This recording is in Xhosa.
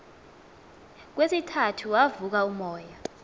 kwesithathu wavuka umoya